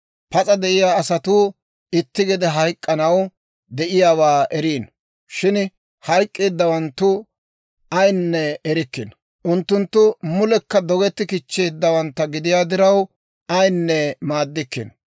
Pas'a de'iyaa asatuu itti gede hayk'k'anaw de'iyaawaa eriino; shin hayk'k'eeddawanttu ayaanne erikkino. Unttunttu mulekka dogetti kichcheeddawanttu gidiyaa diraw, ayinne maaddikkino.